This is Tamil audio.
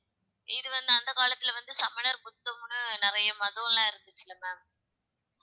இது வந்து அந்தக் காலத்துல வந்து சமணர் புத்தம்ன்னு நிறைய மதம்லாம் இருந்துச்சுல்ல ma'am